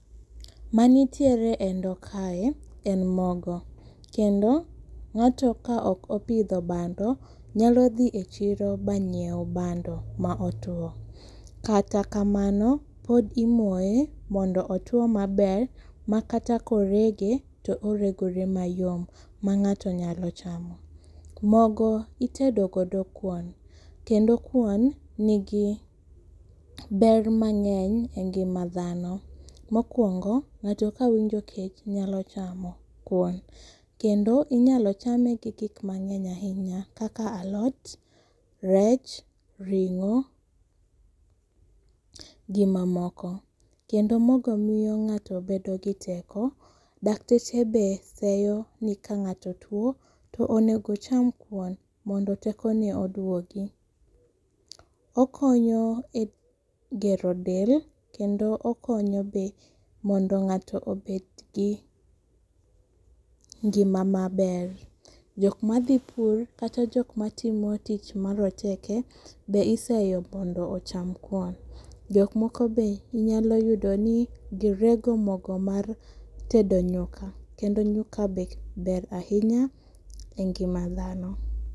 Manitiere endoo kae en mogo kendo ng'ato ka ok opidho bando nyalo dhi e chiro ba nyiew bando ma otwo kata kamano, odhi moye mondo otwo maber ma kata korege toregore mayom ma ng'ato nyalo chamo. Mogo itedo godo kuon kendo kuon nigi ber mang'eny e ngima dhano. Mokwongo , ng'ato kawinjo kech nyalo chamo kuon kendo inyalo chame kokik gi gik mang'eny ahinya kaka alot, rech ,ring'o gi mamoko kendo mogo miyo ng'ato bedo gi teko, dakteche be seyo ni ka ng'ato tuo to onego cham kuon mondo teko ne oduogi. Okonyo e gero del kendo okonyo be mondo ng'ato obet gi ngima maber . Jok madhi pur kata jok matimo tich maroteke be iseyo mondo ocham kuon, jok moko be inyalo yudo ni girego mogo mar tedo nyuka kendo nyuka be ber ahinya e ngima dhano.